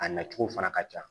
A nacogo fana ka ca